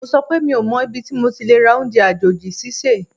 Mo sọ wípé mi ò mọ ibi tí mo ti lè rà oúnjẹ àjòjì sísè